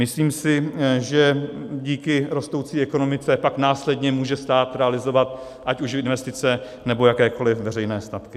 Myslím si, že díky rostoucí ekonomice pak následně může stát realizovat ať už investice, nebo jakékoliv veřejné statky.